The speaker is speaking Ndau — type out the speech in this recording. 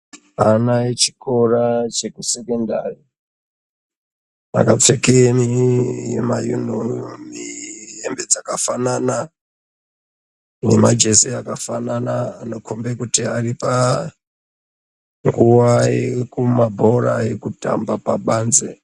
Ana vekuchikora chekusekendari vanopfekeni ma yunifomu ,hembe dzakafanana nemajezi akafanana anokombe kuti aripanguva yekumabhora kumbe nguva yekutamba pabanzi.